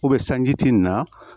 sanji ti nin na